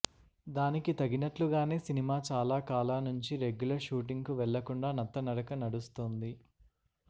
దానికి తగినట్లుగానే సినిమా చాలా కాలా నుంచి రెగ్యులర్ షూటింగ్ కు వెళ్లకుండా నత్త నడక నడుస్తోంది